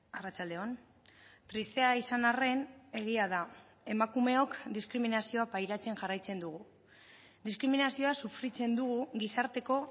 arratsalde on tristea izan arren egia da emakumeok diskriminazioa pairatzen jarraitzen dugu diskriminazioa sufritzen dugu gizarteko